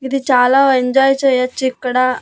ఇది చాలా ఎంజాయ్ చేయొచిక్కడ.